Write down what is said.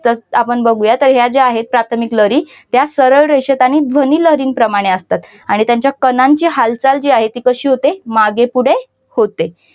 तसंच आपण बघूया तर ज्या आहेत प्राथमिक लहरी त्या सरळ रेषेत आणि ध्वनिलहरी प्रमाणे असतात आणि त्यांच्या प्राणांचे हालचाल जी आहे ती कशी होते मागेपुढे होते.